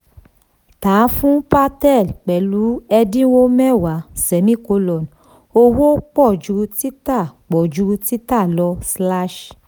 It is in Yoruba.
tà fun patel pẹ̀lú ẹ̀dínwó mẹ́wàá; owó pọ̀ ju tita pọ̀ ju tita lọ. slash